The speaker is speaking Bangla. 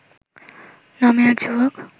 নামে এক যুবক